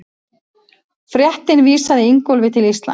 Fréttin vísaði Ingólfi til Íslands.